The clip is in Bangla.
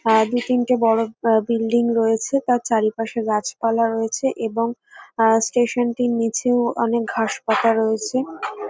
আ দু তিনটে বড় আ বিল্ডিং রয়েছে তার চারিপাশে গাছপালা রয়েছে এবং আ স্টেশন -টির নিচেও অনেক ঘাস পাতা রয়েছে।